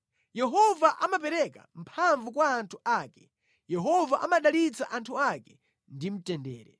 Yehova amapereka mphamvu kwa anthu ake; Yehova amadalitsa anthu ake ndi mtendere.